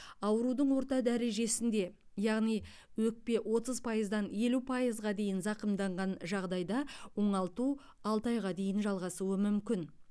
аурудың орта дәрежесінде яғни өкпе отыз пайыздан елу пайызға дейін зақымданған жағдайда оңалту алты айға дейін жалғасуы мүмкін